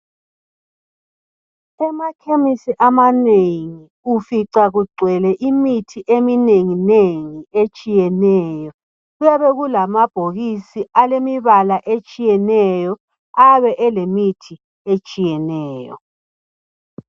kumakhemesi amanengi ufica kugcwele imithi eminenginengi etshiyeneyo kuyabe kulamabhokisi alemibala etshiyeneyo ayabe elemithi etshiyeneyo